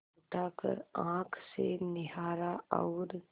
उठाकर आँख से निहारा और